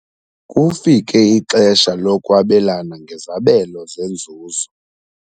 Kufike ixesha lokwabelana ngezabelo zenzuzo.